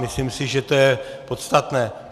Myslím si, že to je podstatné.